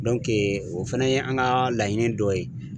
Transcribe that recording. o fana ye an ka laɲini dɔ ye.